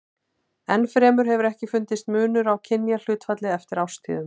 Enn fremur hefur ekki fundist munur á kynjahlutfalli eftir árstíðum.